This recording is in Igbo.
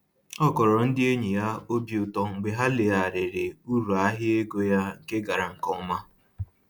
Ọ kọrọ ndị enyi ya obi ụtọ mgbe ha legharịrị uru ahịa ego ya nke gara nke ọma